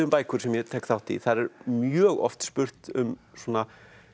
bækur sem ég tek þátt í þar er mjög oft spurt um svona